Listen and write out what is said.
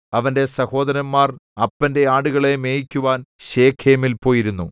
അവന്റെ സഹോദരന്മാർ അപ്പന്റെ ആടുകളെ മേയിക്കുവാൻ ശെഖേമിൽ പോയിരുന്നു